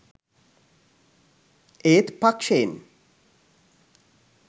ඒත් පක්ෂයෙන්